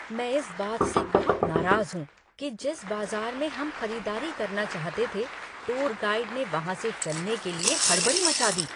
मैं इस बात से बहुत नाराज़ हूँ कि जिस बाजार में हम खरीदारी करना चाहते थे, टूर गाइड ने वहाँ से चलने के लिए हड़बड़ी मचा दी।